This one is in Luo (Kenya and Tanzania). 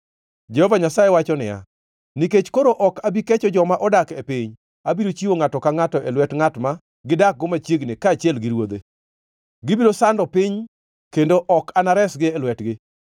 Jehova Nyasaye wacho niya, “Nikech koro ok abi kecho joma odak e piny, abiro chiwo ngʼato ka ngʼato e lwet ngʼat ma gidakgo machiegni kaachiel gi ruodhe. Gibiro sando piny, kendo ok anaresgi e lwetgi.”